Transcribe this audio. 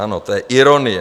Ano, to je ironie.